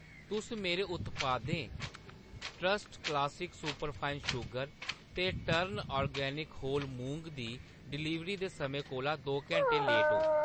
तुस मेरे उत्पादें ट्रस्ट क्लासिक सुपरफाइन शुगर ते टर्न ऑर्गेनिक होल मुंगी दी डलीवरी दे समें कोला दो घैंटें लेट ओ